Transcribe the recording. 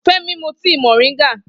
Femi mú tíì moringa